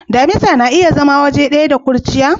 Damisa na iya zama waje daya da kurciya?